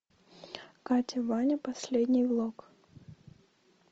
катя ваня последний влог